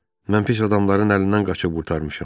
Mən pis adamların əlindən qaçıb qurtarmışam.